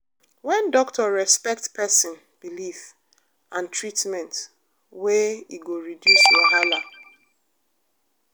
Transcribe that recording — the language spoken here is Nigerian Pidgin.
when doctor respect person belief and treatment way e go reduce wahala.